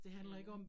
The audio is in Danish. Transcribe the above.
Mh